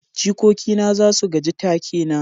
jikoki na za su gaji take na